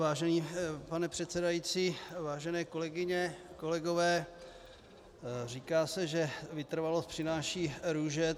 Vážený pane předsedající, vážené kolegyně, kolegové, říká se, že vytrvalost přináší růže.